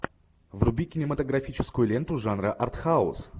вруби кинематографическую ленту жанра артхаус